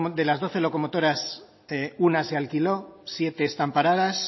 de las doce locomotoras una se alquiló siete están paradas